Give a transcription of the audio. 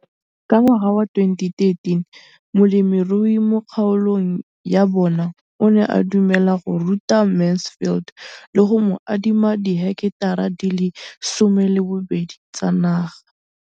Ka ngwaga wa 2013, molemirui mo kgaolong ya bona o ne a dumela go ruta Mansfield le go mo adima di heketara di le 12 tsa naga.